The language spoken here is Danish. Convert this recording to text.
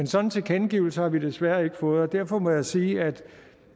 sådan tilkendegivelse har vi desværre ikke fået og derfor må jeg sige at